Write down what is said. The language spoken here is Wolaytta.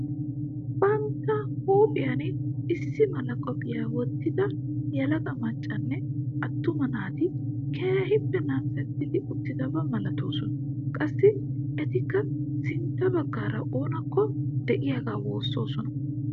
Bantta huuphphiyan issi mala qophphiyaa wottida yelaga maccanne attuma naati keehippe namisetti uttidaba malatoosona. qassi etikka sintta baggaara oonakko de'iyaagaa woosossona.